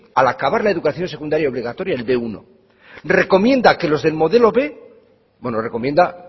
al acabar la educación secundaria obligatoria el be uno recomienda que los del modelo b bueno recomienda